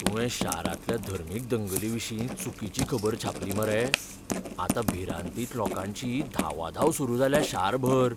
तुवें शारांतल्या धर्मीक दंगलीविशीं चुकिची खबर छापली मरे. आतां भिरांतीन लोकांची धांवाधांव सुरू जाल्या शारभर.